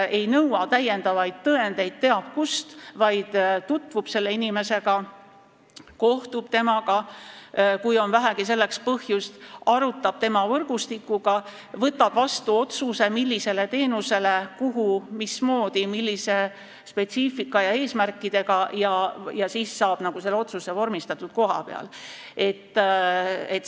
Ta ei nõua täiendavaid tõendeid kes teab kust, vaid tutvub selle inimesega, kohtub temaga, kui on vähegi põhjust, arutab asju võrgustikuga, võtab vastu otsuse, millist teenust on vaja, kus, mismoodi, millise spetsiifika ja eesmärkidega, ja saab selle otsuse kohapeal vormistatud.